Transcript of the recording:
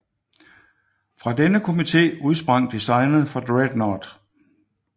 Fra denne komite udsprang designet for Dreadnought